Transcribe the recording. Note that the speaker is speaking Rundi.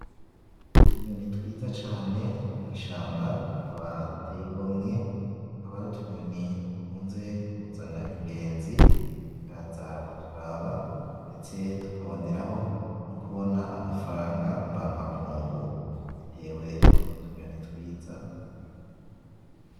Utunyoni twiza cane two mwishamba, tukaba duteye igomwe. Tukaba ari utunyoni dukunze kuzana ingenzi zikaza kuturaba, ndetse tukaboneraho nokubona amafaranga mvamakungu, bitewe nutwo tunyoni twiza.